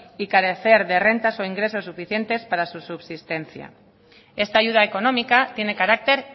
y carecer de rentas o ingresos para su subsistencia esta ayuda económica tiene carácter